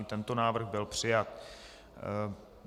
I tento návrh byl přijat.